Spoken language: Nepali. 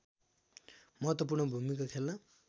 महत्त्वपू्र्ण भूमिका खेल्न